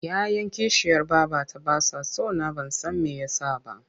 Ya 'yan kishiyar babata ba sa so na ban san me ya sa ba.